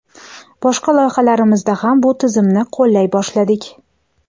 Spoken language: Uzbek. boshqa loyihalarimizda ham bu tizimni qo‘llay boshladik!.